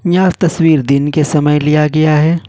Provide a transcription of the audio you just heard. यह तस्वीर दिन के समय लिया गया है।